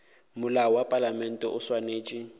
molao wa palamente o swanetše